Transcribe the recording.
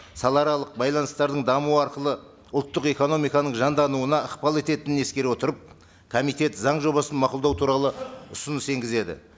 салааралық байланыстардың дамуы арқылы ұлттық экономиканың жандануына ықпал ететінін ескере отырып комитет заң жобасын мқұлдау туралы ұсыныс енгізеді